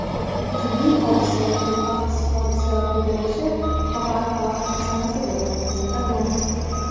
jiddiy hodisa yoki baxtsiz hodisa ro‘y berishi faqat vaqt masalasidir – Pentagon.